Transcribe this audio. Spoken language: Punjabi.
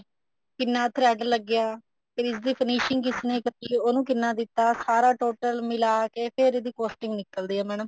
ਕਿੰਨਾ thread ਲੱਗਿਆ ਤੇ ਇਸ ਦੀ finishing ਕਿਸ ਨੇ ਕੀਤੀ ਉਹਨੂੰ ਕਿੰਨਾ ਦਿੱਤਾ ਸਾਰਾ total ਮਿਲਾ ਕੇ ਫ਼ੇਰ ਇਸ ਦੀ costing ਨਿੱਕਲਦੇ ਆ madam